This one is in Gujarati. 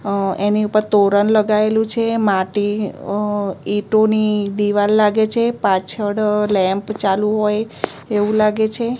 અ એની ઉપર તોરણ લગાયેલુ છે માટી અ ઈંટોની દીવાલ લાગે છે પાછળ લૅમ્પ ચાલુ હોય એવુ લાગે છે.